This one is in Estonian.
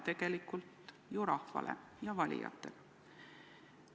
Tegelikult ta ütleb seda ju rahvale, valijatele.